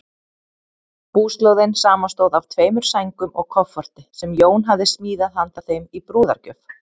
Búslóðin samanstóð af tveimur sængum og kofforti, sem Jón hafði smíðað handa þeim í brúðargjöf.